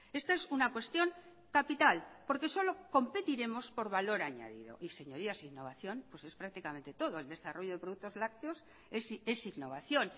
esta es una cuestión capital porque solo competiremos por valor añadido y señorías innovación pues es prácticamente todo el desarrollo de productos lácteos es innovación